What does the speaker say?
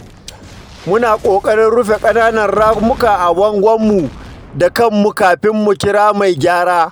Muna ƙoƙarin rufe ƙananan ramuka a bangon mu da kanmu kafin mu kira mai gyara.